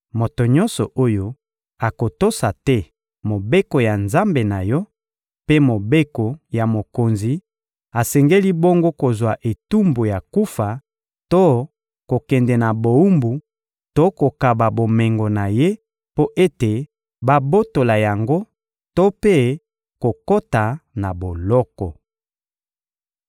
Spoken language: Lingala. Moto nyonso oyo akotosa te Mobeko ya Nzambe na yo mpe mobeko ya mokonzi asengeli bongo kozwa etumbu ya kufa to kokende na bowumbu to kokaba bomengo na ye mpo ete babotola yango to mpe kokota na boloko.»